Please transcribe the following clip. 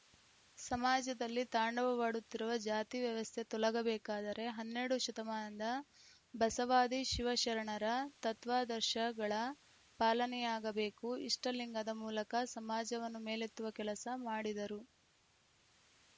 ಸಮಾಜದಲ್ಲಿ ತಾಂಡವಾಡುತ್ತಿರುವ ಜಾತಿ ವ್ಯವಸ್ಥೆ ತೊಲಗಬೇಕಾದರೆ ಹನ್ನೆರಡು ಶತಮಾನದ ಬಸವಾದಿ ಶಿವಶರಣರ ತತ್ವಾದರ್ಶಗಳ ಪಾಲನೆಯಾಗಬೇಕು ಇಷ್ಟಲಿಂಗದ ಮೂಲಕ ಸಮಾಜವನ್ನು ಮೇಲೆತ್ತುವ ಕೆಲಸ ಮಾಡಿದರು